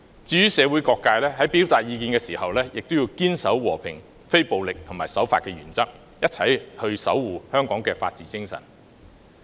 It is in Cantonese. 至於社會各界，在表達意見時，也要堅守和平、非暴力及守法的原則，一起守護香港的法治精神。